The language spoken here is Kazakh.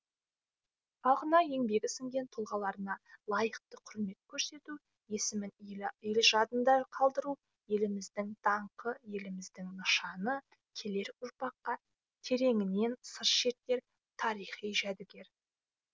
халқына еңбегі сіңген тұлғаларына лайықты құрмет көрсету есімін ел ел жадында қалдыру еліміздің даңқы елдігіміздің нышаны келер ұрпаққа тереңінен сыр шертер тарихи жәдігер